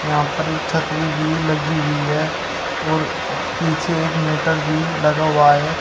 यहां पर एक छतरी भी लगी हुई है और पीछे एक मीटर भी लगा हुआ है।